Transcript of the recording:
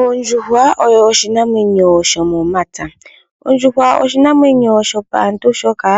Ondjuhwa oyo oshinamwenyo shomomapya. Ondjuhwa oshinamwenyo shopaantu shoka